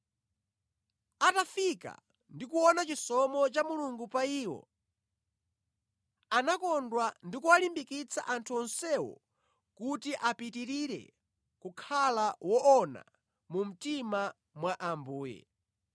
Atafika ndi kuona chisomo cha Mulungu pa iwo, anakondwa ndi kuwalimbikitsa anthu onsewo kuti apitirire kukhala woona mu mtima mwa Ambuye.